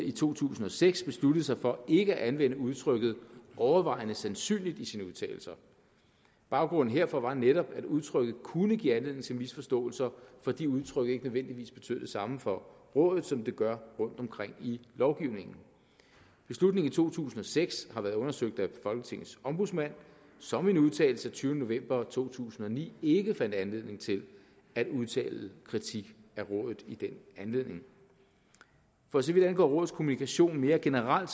i to tusind og seks besluttede sig for ikke at anvende udtrykket overvejende sandsynligt i sine udtalelser baggrunden herfor var netop at udtrykket kunne give anledning til misforståelser fordi udtrykket ikke nødvendigvis betød det samme for rådet som det gør rundtomkring i lovgivningen beslutningen i to tusind og seks har været undersøgt af folketingets ombudsmand som i en udtalelse af tyvende november to tusind og ni ikke fandt anledning til at udtale kritik af rådet i den anledning for så vidt angår rådets kommunikation mere generelt